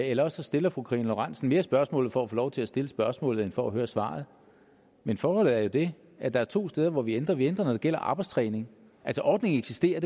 eller også stiller fru karina lorentzen dehnhardt mere spørgsmålet for at få lov til at stille spørgsmålet end for at høre svaret men forholdet er jo det at der er to steder hvor vi ændrer noget vi ændrer når det gælder arbejdstræning ordningen eksisterer